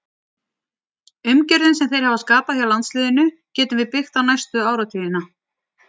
Umgjörðin sem þeir hafa skapað hjá landsliðinu getum við byggt á næstu áratugina.